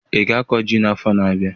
Ị ga-akọ ji n'afọ na-abịa?